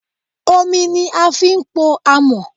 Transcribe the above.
Omi ni a fi ń pò àmọ́.